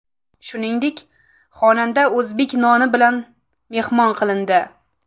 Shuningdek, xonanda o‘zbek noni bilan mehmon qilindi.